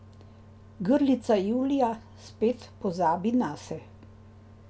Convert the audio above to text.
Grlica Julija spet pozabi nase.